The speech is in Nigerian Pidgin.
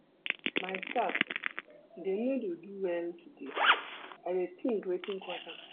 My staff dem no do well today, I dey tink wetin cause am.